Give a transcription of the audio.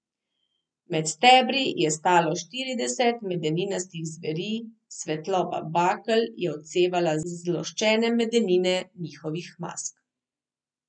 Med stebri je stalo štirideset Medeninastih zveri, svetloba bakel je odsevala z zloščene medenine njihovih mask.